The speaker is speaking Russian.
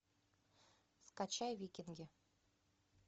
скачай викинги